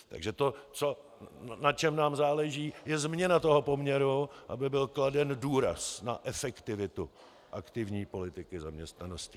Takže to, na čem nám náleží, je změna toho poměru, aby byl kladen důraz na efektivitu aktivní politiky zaměstnanosti.